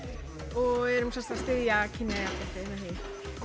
og erum að styðja kynjajafnrétti með því